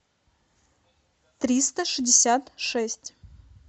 триста шестьдесят шесть